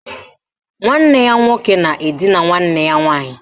Nwanne ya nwoke na edina nwanne ya nwaanyị